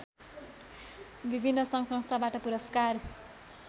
विभिन्न सङ्घसंस्थाबाट पुरस्कार